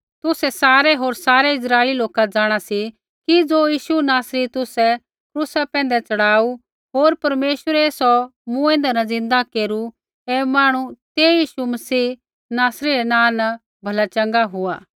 तुसै सारै होर सारै इस्राइली लोका जाँणा सी कि ज़ो यीशु नासरी तुसै क्रूसा पैंधै च़ढ़ाऊ होर परमेश्वरै सौ मूँऐंदै न ज़िन्दा केरू ऐ मांहणु तेही यीशु मसीह नासरी रै नाँ न भला चँगा हुआ